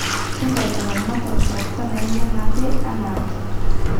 Kitayu ilaramatak ntapuka nainyakate anaake.